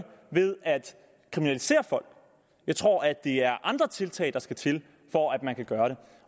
ved at kriminalisere folk jeg tror at det er andre tiltag der skal til for at man kan gøre det